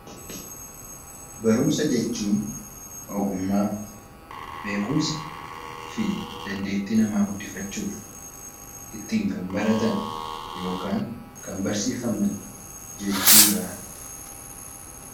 Barumsa jechuun ogummaa, beekumsa fi dandeetti namaa guddiffachuuf kan baratan yookiin kan barsiifaman jechuudha.